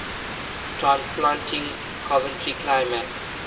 transplanting coventry climax